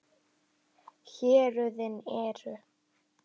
Héruðin eru